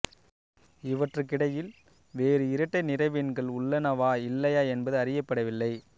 இவற்றுக்கிடையில் வேறு இரட்டை நிறைவெண்கள் உள்ளனவா இல்லையா என்பது அறியப்படவில்லை